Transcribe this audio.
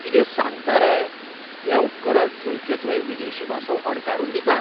कितें सांगता रे! हें उपकरण थंयचे थंय विदेशी भासो अणकारून दिता?